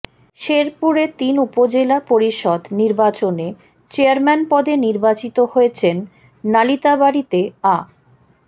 শেরপুরে তিন উপজেলা পরিষদ নির্বাচনে চেয়ারম্যান পদে নির্বাচিত হয়েছেন নালিতাবাড়ীতে আ